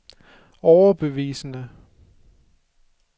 overbevisende